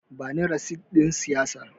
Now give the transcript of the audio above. Bani resit ɗin siyayyar.